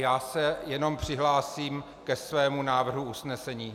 Já se jenom přihlásím ke svému návrhu usnesení.